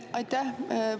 Aitäh!